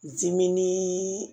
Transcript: Diminni